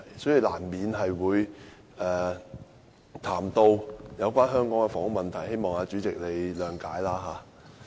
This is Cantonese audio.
所以，我難免會談到香港的房屋問題，希望代理主席諒解。